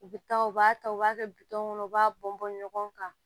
U bɛ taa u b'a ta u b'a kɛ bitɔn kɔnɔ u b'a bɔn bɔn ɲɔgɔn kan